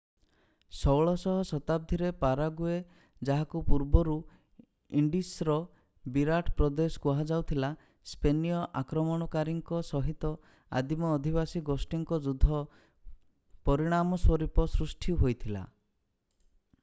16ଶହ ଶତାବ୍ଦୀରେ ପାରାଗୁଏ ଯାହାକୁ ପୂର୍ବରୁ ଇଣ୍ଡିସ୍‌ର ବିରାଟ ପ୍ରଦେଶ କୁହାଯାଉଥିଲା ସ୍ପେନୀୟ ଆକ୍ରମଣକାରୀଙ୍କ ସହିତ ଆଦିମ ଅଧିବାସୀ ଗୋଷ୍ଠୀଙ୍କ ଯୁଦ୍ଧର ପରିଣାମସ୍ୱରୂପ ସୃଷ୍ଟି ହୋଇଥିଲା ।